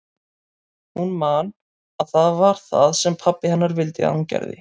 Hún man að það var það sem pabbi hennar vildi að hún gerði.